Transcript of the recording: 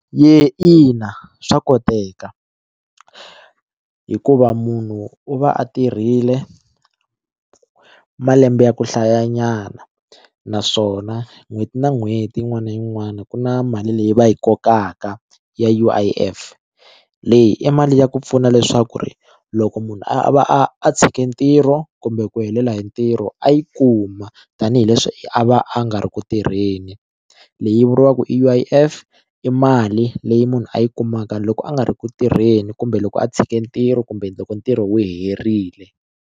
Ina, swa koteka hikuva munhu u va a tirhile malembe ya ku hlayanyana naswona n'hweti na n'hweti yin'wana na yin'wana ku na mali leyi va yi kokaka ya U_I_F leyi i mali ya ku pfuna leswaku ri loko munhu a va a tshike ntirho kumbe ku helela hi ntirho a yi kuma tanihileswi a va a nga a ri ku tirheni leyi vuriwaka U_I_F i mali leyi munhu a yi kumaka loko a nga ri ku tirheni kumbe loko a tshike ntirho kumbe loko ntirho wu herile.